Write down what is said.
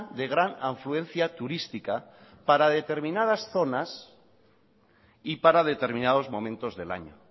de gran afluencia turística para determinadas zonas y para determinados momentos del año